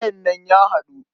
Gayen nan ya haɗu.